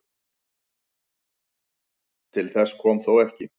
Til þess kom þó ekki